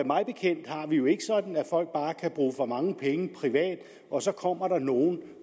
mig bekendt har vi det jo ikke sådan at folk bare kan bruge for mange penge privat og så kommer der nogle